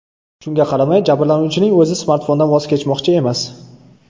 Shunga qaramay, jabrlanuvchining o‘zi smartfondan voz kechmoqchi emas.